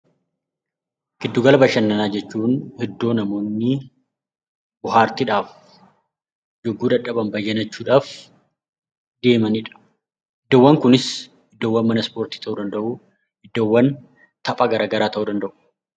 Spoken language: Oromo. Gidduu gala bashannanaa jechuun iddoo namoonni bohaartiidhaaf yookiin yeroo dadhaban aara galfiidhaaf deemanidha. Iddoowwan Kunis iddoo ispoortii yookiin taphaa ta'uu danda'u.